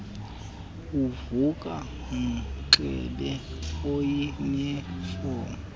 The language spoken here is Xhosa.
uvuka unxibe iyuniform